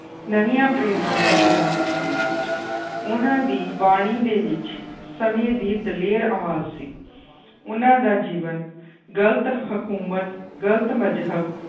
ਨਵੀਂਆਂ ਪ੍ਰੇਰਨਾਵਾਂ ਜਗਾ ਦਿੱਤੀਆਂ ਉਹਨਾਂ ਦੀ ਬਾਣੀ ਦੇ ਵਿੱਚ ਸਮੇਂ ਦੀ ਦਲੇਰ ਆਵਾਜ਼ ਸੀ ਉਹਨਾਂ ਦਾ ਜੀਵਨ ਗ਼ਲਤ ਹਕੂਮਤ, ਗ਼ਲਤ ਮਜ਼ਹਬ